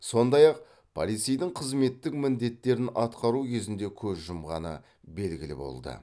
сондай ақ полицейдің қызметтік міндеттерін атқару кезінде көз жұмғаны белгілі болды